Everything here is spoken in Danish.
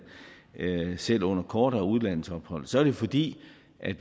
selv under kortere udlandsophold så er det fordi